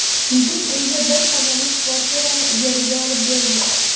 Yigit unga bir xonali kvartirani ijaraga olib bergan.